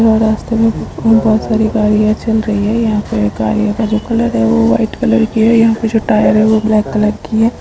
यहाँ रास्ते में कुछ उ बहुत सारी गाड़ियाँ चल रही हैं। यहाँ पे गाड़ियों का जो कलर है वो वाइट कलर की है। यहाँ पे जो टायर है वो ब्लैक कलर की है।